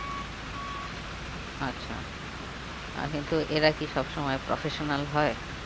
আচ্ছা আহ কিন্তু এরা কি সব সময় professional হয়?